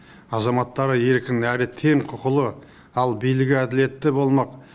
азаматтары еркін әрі тең құқылы ал билігі әділетті болмақ